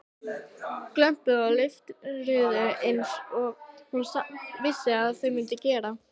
Glömpuðu og leiftruðu einsog hún vissi að þau mundu gera.